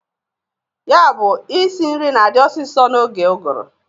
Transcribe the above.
Ya bụ isi nri na-adị ọsịsọ n'oge ụgụrụ.